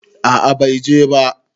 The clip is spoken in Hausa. A'a bai je ba